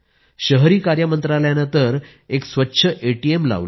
शहरी कार्य मंत्रालयानं तर एक स्वच्छ एटीएमही लावलं आहे